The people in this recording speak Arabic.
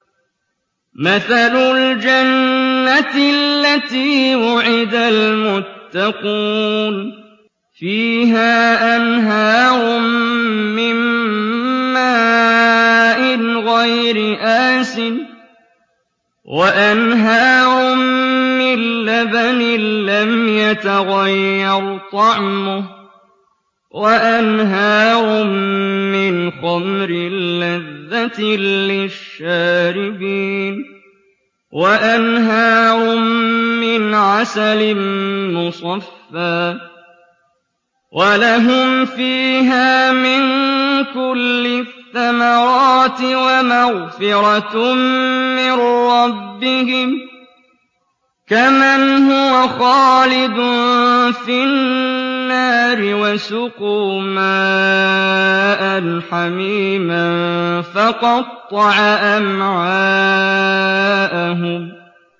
مَّثَلُ الْجَنَّةِ الَّتِي وُعِدَ الْمُتَّقُونَ ۖ فِيهَا أَنْهَارٌ مِّن مَّاءٍ غَيْرِ آسِنٍ وَأَنْهَارٌ مِّن لَّبَنٍ لَّمْ يَتَغَيَّرْ طَعْمُهُ وَأَنْهَارٌ مِّنْ خَمْرٍ لَّذَّةٍ لِّلشَّارِبِينَ وَأَنْهَارٌ مِّنْ عَسَلٍ مُّصَفًّى ۖ وَلَهُمْ فِيهَا مِن كُلِّ الثَّمَرَاتِ وَمَغْفِرَةٌ مِّن رَّبِّهِمْ ۖ كَمَنْ هُوَ خَالِدٌ فِي النَّارِ وَسُقُوا مَاءً حَمِيمًا فَقَطَّعَ أَمْعَاءَهُمْ